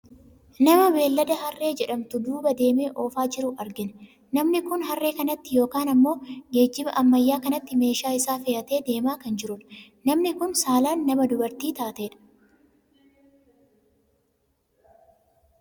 Nama beellada harree jedhamtu duuba deemee oofaa jiru argina. Namni kun harree kanatti yookaan ammoo geejjiba ammayyaa kanatti meeshaa isaa fe'atee deemaa kan jirudha. Namni kun saalaan nama dubartii taatedha.